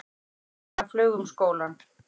Sagan flaug um skólann.